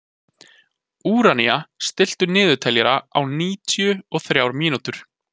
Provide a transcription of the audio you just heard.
Úranía, stilltu niðurteljara á níutíu og þrjár mínútur.